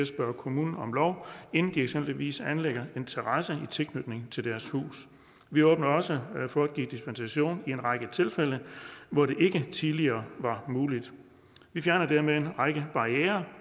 spørge kommunen om lov inden de eksempelvis anlægger en terrasse i tilknytning til deres hus vi åbner også for at give dispensation i en række tilfælde hvor det ikke tidligere var muligt vi fjerner dermed en række barrierer